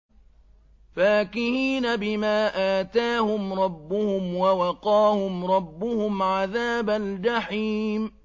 فَاكِهِينَ بِمَا آتَاهُمْ رَبُّهُمْ وَوَقَاهُمْ رَبُّهُمْ عَذَابَ الْجَحِيمِ